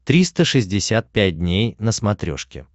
триста шестьдесят пять дней на смотрешке